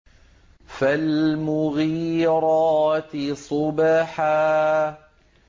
فَالْمُغِيرَاتِ صُبْحًا